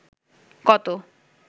কত